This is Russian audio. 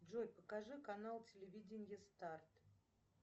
джой покажи канал телевидения старт